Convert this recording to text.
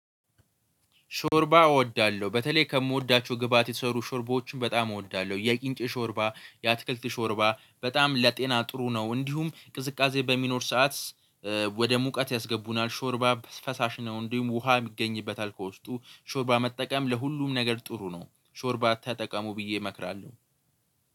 ሾርባ እወዳለሁ በተለይ ከምወዳቸው ግብአት የተሰሩ ሾርባዎችን በጣም እወዳለሁ። የቂንጭ ሾርባ፤ የአትክልት ሾርባ፤ በጣም ለጤና ጥሩ ነው እንዲሁም ቅዝቃዜ በሚኖር ሰዓት። ወደ ሙቀት ያስገቡናል ሾርባ ፈሳሽ ነው። እንዲሁም ውሃ የሚገኝበታል ከውስጡ ሾርባ መጠቀም ለሁሉም ነገር ጥሩ ነው። ሾርባ ተጠቀሙ ብዬ እመክራለሁ።